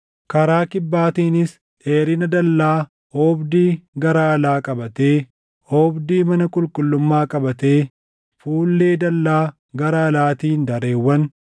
Karaa kibbaatiinis dheerina dallaa oobdii gara alaa qabatee, oobdii mana qulqullummaa qabatee fuullee dallaa gara alaatiin dareewwan